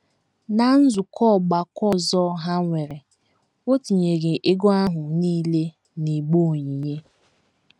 Ná nzukọ ọgbakọ ọzọ ha nwere, o tinyere ego ahụ nile n’igbe onyinye.